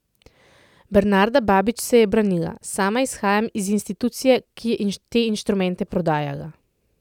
Bernanda Babič se je branila: 'Sama izhajam iz institucije, ki je te inštrumente prodajala.